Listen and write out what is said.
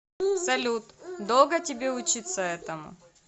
салют долго тебе учиться этому